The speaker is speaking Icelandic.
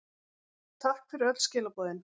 Takk fyrir öll skilaboðin.